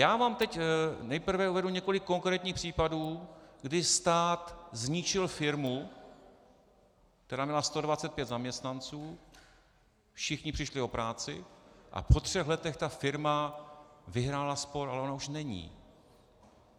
Já vám teď nejprve uvedu několik konkrétních případů, kdy stát zničil firmu, která měla 125 zaměstnanců, všichni přišli o práci a po třech letech ta firma vyhrála spor, ale ona už není.